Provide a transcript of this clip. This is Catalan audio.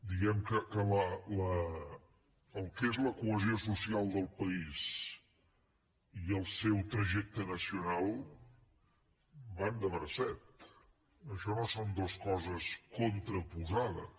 diguem ne que el que és la cohesió social del país i el seu trajecte nacional van de bracet això no són dues coses contraposades